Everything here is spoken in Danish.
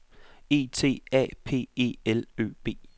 E T A P E L Ø B